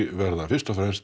verða fyrst og fremst